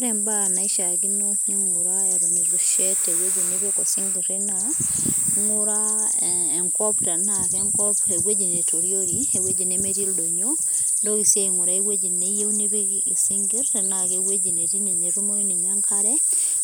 ore imbaa naishakino ninguraa eton etu ishet eweuji nipiki osingiri naa, inguraa enkop tena kenkop naitoriori eweuji nemetii ildonyio nintoki sii aingura eweuji niyieu nipik isingir tena keweuji netii natumoyu ninye enkare